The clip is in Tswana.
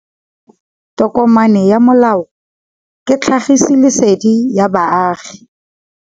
Tokomane ya molao ke tlhagisi lesedi go baagi.